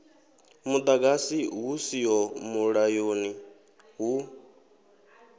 muḓagasi hu siho mulayoni hu